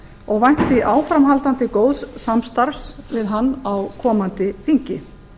og vænti áframhaldandi góðs samstarfs við hann á komandi þingi